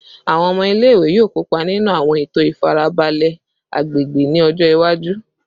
Awọn ọmọ ile-iwe yoo kopa ninu awọn eto ifarabalẹ agbegbe ni ọjọ iwaju